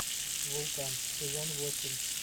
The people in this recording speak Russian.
вулкан сезон восемь